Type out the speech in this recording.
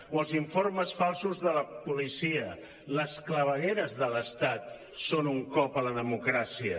o els informes falsos de la policia les clavegueres de l’estat són un cop a la democràcia